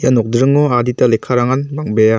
ia nokdringo adita lekkarangan bang·bea.